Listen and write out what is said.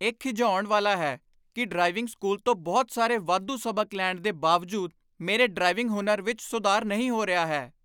ਇਹ ਖਿਝਾਉਣ ਵਾਲਾ ਹੈ ਕਿ ਡਰਾਈਵਿੰਗ ਸਕੂਲ ਤੋਂ ਬਹੁਤ ਸਾਰੇ ਵਾਧੂ ਸਬਕ ਲੈਣ ਦੇ ਬਾਵਜੂਦ ਮੇਰੇ ਡਰਾਈਵਿੰਗ ਹੁਨਰ ਵਿੱਚ ਸੁਧਾਰ ਨਹੀਂ ਹੋ ਰਿਹਾ ਹੈ।